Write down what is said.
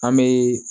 An bɛ